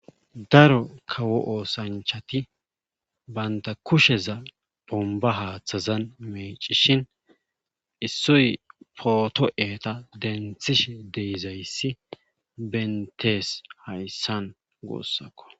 Daro kawo oosanchati bantta kusheza bombba haathazan meeccishin issoy pooto entta denthishe de7izayssi benttees hayssan guussako.